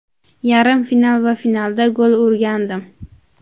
Yarim final va finalda gol urgandim.